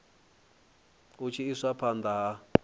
hu tshi iswa phanda ha